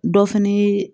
Dɔ fɛnɛ ye